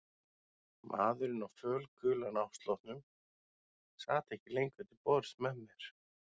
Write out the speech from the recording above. Maðurinn á fölgula náttsloppnum sat ekki lengur til borðs með mér.